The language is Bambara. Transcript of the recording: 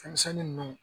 Fɛn misɛnnin ninnu